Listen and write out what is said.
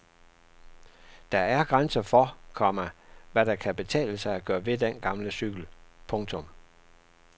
Der er grænser for, komma hvad der kan betale sig at gøre ved den gamle cykel. punktum